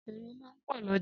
Èrò máà ń pò l'ójà